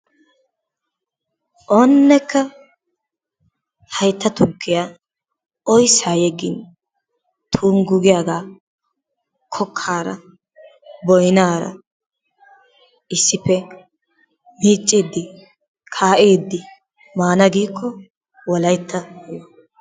Oonnekka haytta tukkiya oyssaa yeggin tonggu giyagaa kokkaara, boynaara issippe miicciiddi, kaa'iiddi maana giikko wolaytta yo!